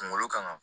Kunkolo kan